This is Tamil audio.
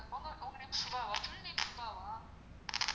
உங்க உங்க name சுபாவா சுபாவா ?